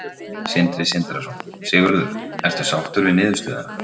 Sindri Sindrason: Sigurður, ertu sáttur við niðurstöðuna?